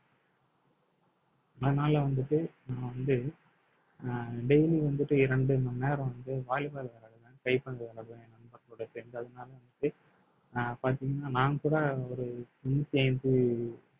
அதனால வந்துட்டு நான் வந்து அஹ் daily வந்துட்டு இரண்டு மணி நேரம் வந்து volleyball விளையாடுவேன் கைப்பந்து விளையாடுவேன் என் நண்பர்களுடன் சேர்ந்து அதனால வந்து அஹ் பார்த்தீங்கன்னா நான் கூட ஒரு நூத்தி ஐந்து